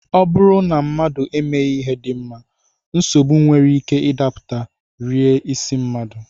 Ọ bụrụ na mmadụ emeghị ihe dị mma, nsogbu nwere ike ịdapụta, rie isi mmadụ